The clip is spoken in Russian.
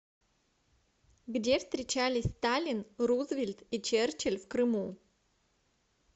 где встречались сталин рузвельт и черчилль в крыму